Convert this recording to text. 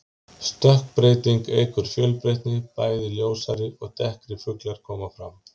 Stökkbreyting eykur fjölbreytni, bæði ljósari og dekkri fuglar koma fram.